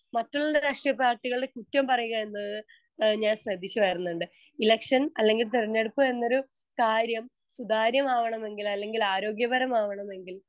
Speaker 1 മറ്റുള്ള രാഷ്ട്രീയ പാർട്ടികളെ കുറ്റം പറയുക എന്നത് ഏഹ് ഞാൻ ശ്രദ്ധിക്കുവാരുന്നുണ്ട്. ഇലക്ഷൻ അല്ലെങ്കിൽ തിരഞ്ഞെടുപ്പ് എന്നൊരു കാര്യം സുതാര്യമാവണമെങ്കില് അല്ലെങ്കിലാരോഗ്യപരമാവണമെങ്കിൽ